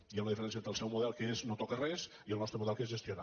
hi ha una diferència entre el seu model que és no tocar res i el nostre model que és gestionar